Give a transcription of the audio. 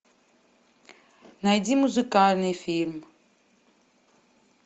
найди музыкальный фильм